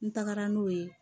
N tagara n'o ye